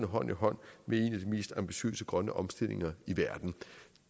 hånd i hånd med en af de mest ambitiøse grønne omstillinger i verden